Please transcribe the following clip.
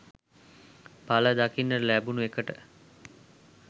පල දකින්න ලැබුණ එකට.